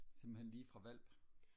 simpelthen lige fra hvalp?